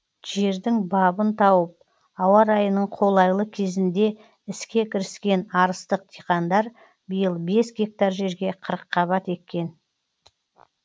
жердің бабын тауып ауа райының қолайлы кезінде іске кіріскен арыстық диқандар биыл бес гектар жерге қырыққабат еккен